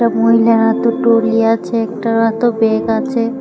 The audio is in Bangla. মহিলার হাতে ট্রোলি আছে একটার হাতেও ব্যাগ আছে।